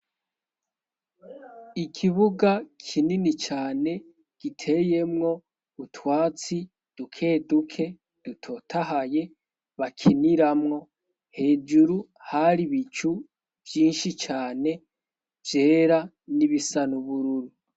ikibuga kinini cyane giteyemwo utwatsi dukeduke dutotahaye bakiniramwo hejuru hari bicu byinshi cyane vyera n'ibisanubururu